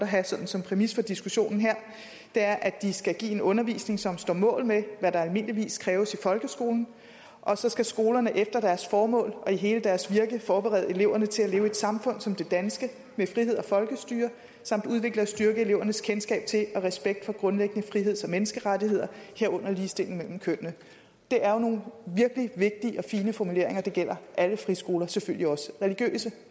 have som præmis for diskussionen her det er at de skal give en undervisning som står mål med hvad der almindeligvis kræves i folkeskolen og så skal skolerne efter deres formål og i hele deres virke forberede eleverne til at leve i et samfund som det danske med frihed og folkestyre samt udvikle og styrke elevernes kendskab til og respekt for grundlæggende friheds og menneskerettigheder herunder ligestilling mellem kønnene det er jo nogle virkelig vigtige og fine formuleringer og det gælder alle friskoler selvfølgelig også religiøse